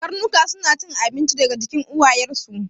Karnuka suna cin abinci daga jikin uwayen su